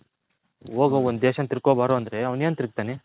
ಹೋಗೋ ಒಂದ್ ದೇಶನ ತಿರ್ಕೊಂಡ್ ಬಾರೋ ಅಂದ್ರೆ ಅವನು ಏನು ತಿರಗ್ತಾನೆ.